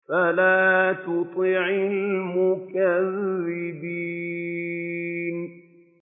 فَلَا تُطِعِ الْمُكَذِّبِينَ